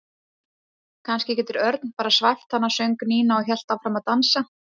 Kannski getur Örn bara svæft hana söng Nína og hélt áfram að dansa.